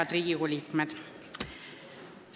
Head Riigikogu liikmed!